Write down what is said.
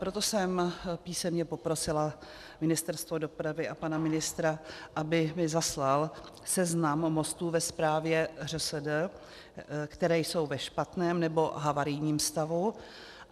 Proto jsem písemně poprosila Ministerstvo dopravy a pana ministra, aby mi zaslal seznam mostů ve správě ŘSD, které jsou ve špatném nebo havarijním stavu.